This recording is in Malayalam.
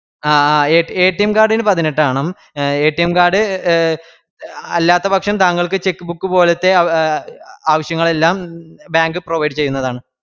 ആഹ് ആഹ് card ന് പതിനെട്ടാവണം card അല്ലാത്തപക്ഷം താങ്കൾക്ക് cheque book പോലത്തെ ആവശ്യങ്ങളെല്ലാം bank provide ചെയ്യുന്നതാണ്